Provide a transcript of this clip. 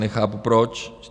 Nechápu proč?